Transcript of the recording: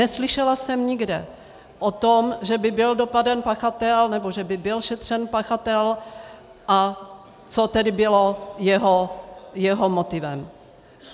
Neslyšela jsem nikde o tom, že by byl dopaden pachatel nebo že by byl šetřen pachatel a co tedy bylo jeho motivem.